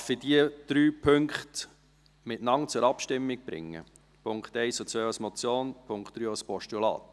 : Darf ich die drei Punkte zusammen zur Abstimmung bringen, die Punkte 1 und 2 als Motion, den Punkt 3 als Postulat?